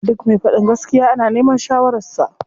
Duk me faɗin gaskiya ana neman shawarar sa.